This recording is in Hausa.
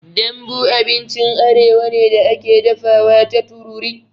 Dambu abincin arewa ne da ake dafawa ta tururi.